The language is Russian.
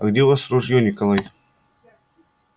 а где у вас ружье николай